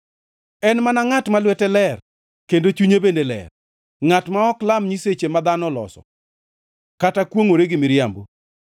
En mana ngʼat ma lwete ler kendo chunye bende ler, ngʼat ma ok lam nyiseche ma dhano oloso, kata kwongʼre gi miriambo.